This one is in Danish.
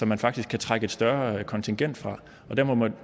man faktisk kan trække et større kontingent fra